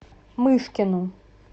мышкину